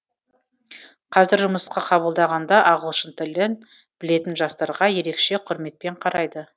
қазір жұмысқа қабылдағанда ағылшын тілін білетін жастарға ерекше құрметпен қарайды